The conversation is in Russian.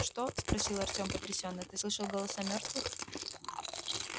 что спросил артём потрясённо ты слышал голоса мёртвых